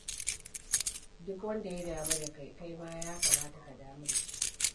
Duk wanda ya damu da kai, kai ma ya kamata ka damu da shi.